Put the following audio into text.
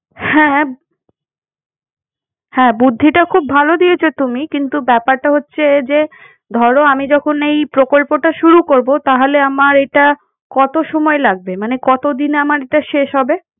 হ্যাঁ, হ্যাঁ। হ্যাঁ, বুদ্ধিটা খুব ভালো দিয়েছো তুমি কিন্তু ব্যাপারটা হচ্ছে, যে আমি যখন এই প্রকল্পটা শুরু করবো তাহলে আমার এটা কত সময় লাগবে? মানে কতদিনে আমার এটা শেষ হবে?